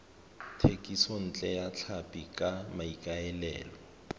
thekisontle ya tlhapi ka maikaelelo